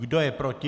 Kdo je proti?